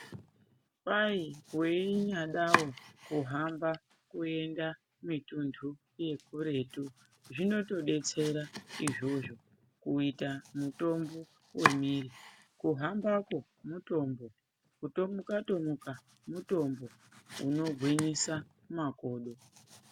Kwahi weinyadawo kuhamba kuenda mitundu yekuretu zvinotodetsera izvozvo kuita mutombo wemiiri. Kuhambako mutombo, kutomuka-tomuka mutombo unogwinyisa makodo.